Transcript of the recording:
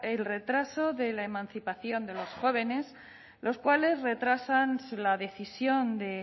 el retraso de la emancipación de los jóvenes los cuales retrasan la decisión de